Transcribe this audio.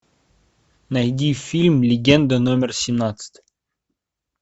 найди фильм легенда номер семнадцать